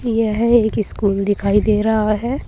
यह एक स्कूल दिखाई दे रहा है।